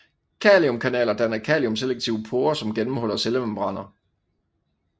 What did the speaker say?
Kaliumkanaler danner kaliumselektive porer som gennemhuller cellemembraner